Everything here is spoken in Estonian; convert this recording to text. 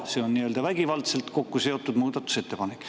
See on nii-öelda vägivaldselt kokkuseotud muudatusettepanek.